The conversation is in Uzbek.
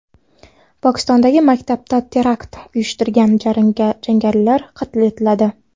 Pokistondagi maktabda terakt uyushtirgan jangarilar qatl etiladi.